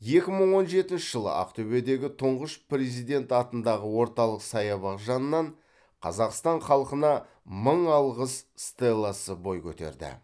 екі мың он жетінші жылы ақтөбедегі тұңғыш президент атындағы орталық саябақ жанынан қазақстан халқына мың алғыс стелласы бой көтерді